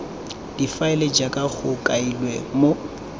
difaele jaaka go kailwe mo